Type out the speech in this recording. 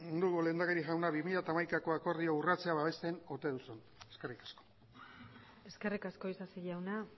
dugu lehendakari jauna bi mila hamaikako akordioa urratzea babesten ote duzun eskerrik asko eskerrik asko isasi jauna